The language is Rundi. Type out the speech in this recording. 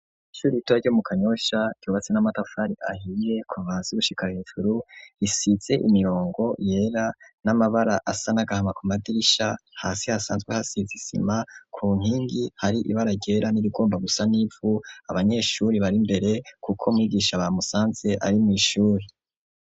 Ishuri ritora ryo mu kanyosha tubatse n'amatafari ahiye kum bazi gushikara hejuru isize imirongo yera n'amabara asa n'agahama ku madirisha hasi hasanzwe hasizisima ku ntingi hari ibara ryera n'ibigomba gusa n'ivu abanyeshuri bari mbere, kuko mwigisha bamusanze ari mw'ishuri.